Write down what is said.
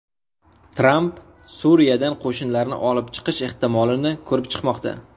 Tramp Suriyadan qo‘shinlarni olib chiqish ehtimolini ko‘rib chiqmoqda.